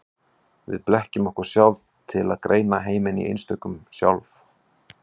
Við blekkjum okkur sjálf til að greina heiminn í einstök sjálf.